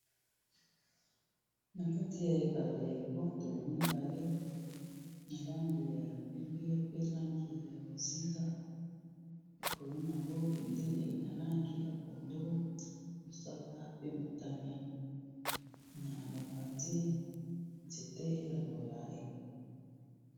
Na kati ya ebale bwato mibale na langi ya pembe pe langi ya bozinga likolo nango bendele na langi ya pondu mosaka pe motane na mopandi nzete ya molayi.